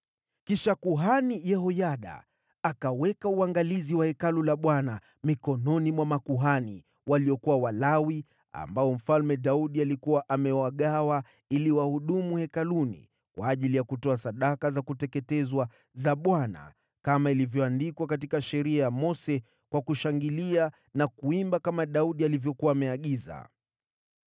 Kisha Yehoyada akaweka uangalizi wa Hekalu la Bwana mikononi mwa makuhani, waliokuwa Walawi, ambao Mfalme Daudi alikuwa amewagawa ili wahudumu hekaluni kwa ajili ya kutoa sadaka za kuteketezwa za Bwana kama ilivyoandikwa katika Sheria ya Mose, kwa kushangilia na kuimba kama Daudi alivyokuwa ameagiza.